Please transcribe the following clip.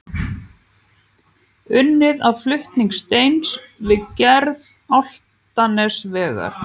Unnið að flutning steins við gerð Álftanesvegar.